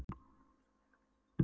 Ert það þú sem rekur bensínstöðina?